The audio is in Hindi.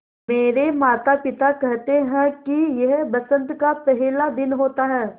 मेरे माता पिता केहेते है कि यह बसंत का पेहला दिन होता हैँ